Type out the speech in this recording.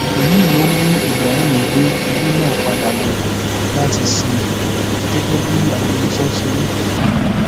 èyí ló mú ibrahim gbé orí náà padà láti lọọ sìn ín gẹgẹ bí agbẹnusọ ṣe wí